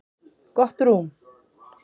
Gott rúm.